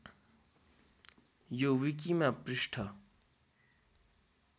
यो विकिमा पृष्ठ